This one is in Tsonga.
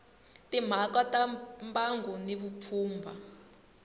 timhaka ta mbango na vupfhumba